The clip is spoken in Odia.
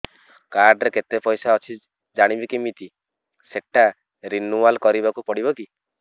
କାର୍ଡ ରେ କେତେ ପଇସା ଅଛି ଜାଣିବି କିମିତି ସେଟା ରିନୁଆଲ କରିବାକୁ ପଡ଼ିବ କି